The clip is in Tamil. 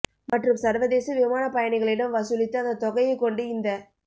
மற்றும் சர்வதேச விமானப் பயணிகளிடம் வசூலித்து அந்தத் தொகையைக் கொண்டு இந்த